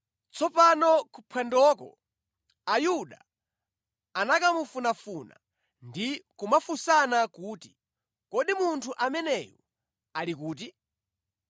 Tsopano kuphwandoko Ayuda anakamufunafuna ndi kumafunsana kuti, “Kodi munthu ameneyu ali kuti?”